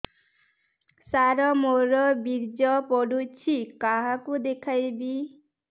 ସାର ମୋର ବୀର୍ଯ୍ୟ ପଢ଼ୁଛି କାହାକୁ ଦେଖେଇବି